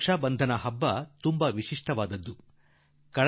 ರಾಖೀ ಬಂಧನ ಹಬ್ಬ ನಮ್ಮ ವಿಶೇಷ ಮಹತ್ವದ ಹಬ್ಬ